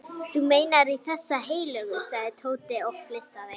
Þú meinar í þessa heilögu? sagði Tóti og flissaði.